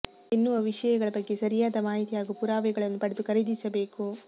ಎನ್ನುವ ವಿಷಯಗಳ ಬಗ್ಗೆ ಸರಿಯಾದ ಮಾಹಿತಿ ಹಾಗೂ ಪುರಾವೆಗಳನ್ನು ಪಡೆದು ಖರೀದಿಸಬೇಕು